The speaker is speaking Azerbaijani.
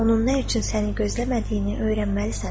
Onun nə üçün səni gözləmədiyini öyrənməlisən.